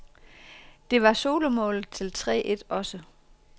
Det var solomålet til tre et også.